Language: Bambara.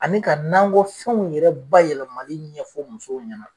Ani ka nankɔ fɛnw yɛrɛ bayɛlɛmali ɲɛfɔ musow ɲɛna